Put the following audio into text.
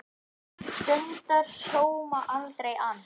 Stundar sóma, aldrei ann